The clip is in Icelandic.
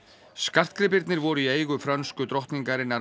skartgripirnir voru í eigu frönsku drottningarinnar